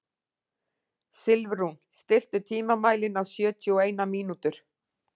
Silfrún, stilltu tímamælinn á sjötíu og eina mínútur.